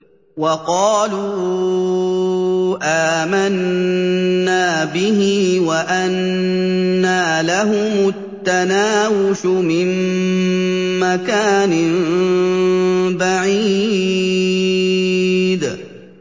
وَقَالُوا آمَنَّا بِهِ وَأَنَّىٰ لَهُمُ التَّنَاوُشُ مِن مَّكَانٍ بَعِيدٍ